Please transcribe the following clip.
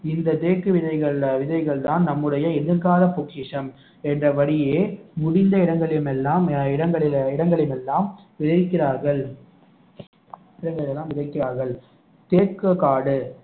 இந்த தேக்கு விதைகள் விதைகள்தான் நம்முடைய எதிர்கால பொக்கிஷம் என்றபடியே முடிந்த இடங்களில் எல்லாம் இடங்களில் இடங்களில் எல்லாம் விதைக்கிறார்கள் இடங்களில் எல்லாம் விதைக்கிறார்கள் தேக்கு காடு